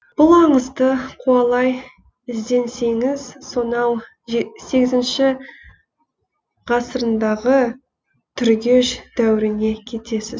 бұл аңызды қуалай ізденсеңіз сонау сегізінші ғасырындағы түргеш дәуіріне кетесіз